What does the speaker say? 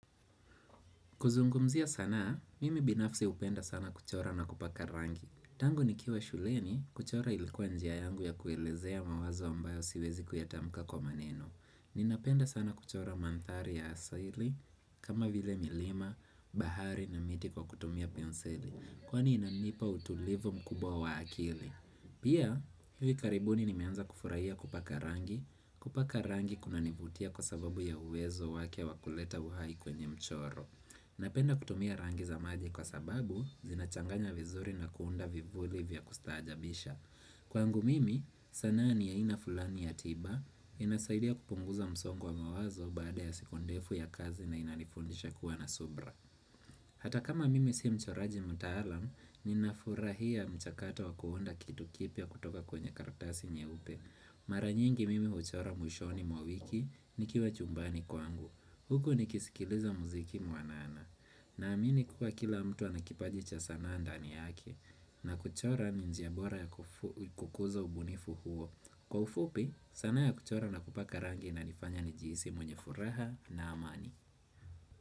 Kuzungumzia sanaa mimi binafsi hupenda sana kuchora na kupaka rangi. Tangu ni kiwa shuleni, kuchora ilikuwa njia yangu ya kuelezea mawazo ambayo siwezi kuyatamka kwa maneno. Ninapenda sana kuchora mandhari ya asali, kama vile milima, bahari na miti kwa kutumia penseli. Kwani inanipa utulivu mkubwa wa akili. Pia, hivi karibuni ni meanza kufurahia kupaka rangi. Kupaka rangi kuna nivutia kwa sababu ya uwezo wake wa kuleta uhai kwenye mchoro. Napenda kutumia rangi za maji kwa sababu, zinachanganya vizuri na kuunda vivuli vya kustajabisha. Kwangu mimi, sanaa ni aina fulani ya tiba, inasaidia kupunguza msongo wa mawazo baada ya siku ndefu ya kazi na inanifundisha kuwa na subra. Hata kama mimi siyo mchoraji mtaalam, ninafurahia mchakata wa kuunda kitu kipia kutoka kwenye karatasi nye upe. Maranyngi mimi huchora mwishoni mwa wiki, nikiwa chumbani kwangu. Huku nikisikiliza muziki mwanana. Na amini kuka kila mtu anakipajicha sanaa ndani yake na kuchora ni njia bora ya kukuza ubunifu huo. Kwa ufupi sanaa ya kuchora na kupaka rangi ina nifanya ni jihisi mwenye furaha na amani.